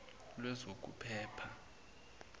lwezokuphepha